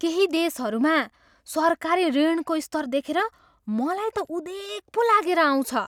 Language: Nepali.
केही देशहरूमा सरकारी ऋणको स्तर देखेर मलाई त उदेक पो लागेर आउँछ।